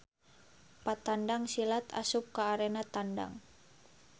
Patandang silat asup ka arena tandang.